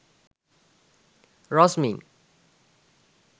rosmin